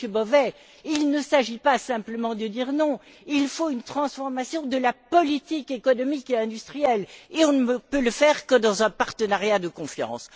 Car, Monsieur Bové, il ne s'agit pas simplement de dire non, il faut une transformation de la politique économique et industrielle et nous ne pouvons y arriver que dans un partenariat de confiance.